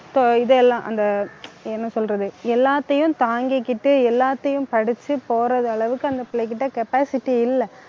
இதெல்லாம் அந்த என்ன சொல்றது எல்லாத்தையும் தாங்கிக்கிட்டு எல்லாத்தையும் படிச்சு போற அளவுக்கு அந்த பிள்ளைகிட்ட capacity இல்லை